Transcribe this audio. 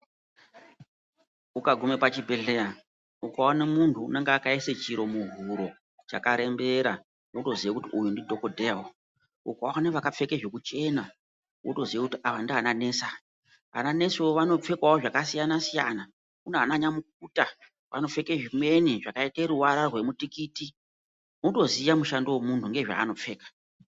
Ukagume pachibhehleya ukaona muntu unenge akaise chiro muhuro chakarembera wotoziye kuti uyu ndidhogodheya uyu. Ukaona vakapfeke zvokuchena wotoziye aya ndiyana nesi aya. Ananesiwo vanopfekawo zvakasiyana-siyana kunaana nyamukuta, vanopfeke zvimweni zvakaite ruvara rwemutikiti. Wotoziya mushando womuntu ngezvaanopfeka.